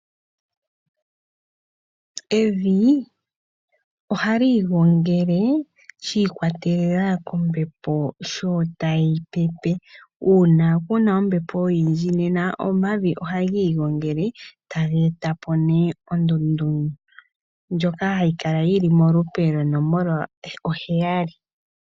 Evi ohali igongele shi ikwatelela kombepo sho tayi pepe. Una kuna ombepo oyindji nena omavi ohaga igongele, taga etapo ne ondundu, ndjoka hayi kala yili molupe lwonomola oheyali.